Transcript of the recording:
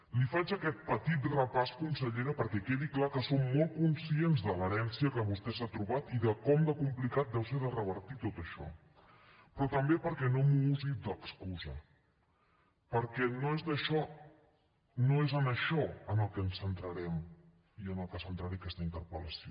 li faig aquest petit repàs consellera perquè quedi clar que som molt conscients de l’herència que vostè s’ha trobat i de com de complicat deu ser de revertir tot això però també perquè no m’ho usi d’excusa perquè no és en això en el que ens centrarem i en el que centraré aquesta interpel·lació